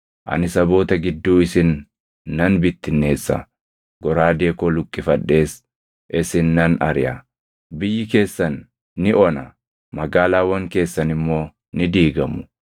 ani saboota gidduu isin nan bittinneessa; goraadee koo luqqifadhees isin nan ariʼa. Biyyi keessan ni ona; magaalaawwan keessan immoo ni diigamu.